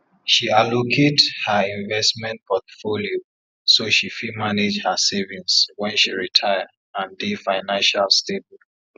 she allocate her investment portfolio so she fit manage her savings wen she retire and dey financial stable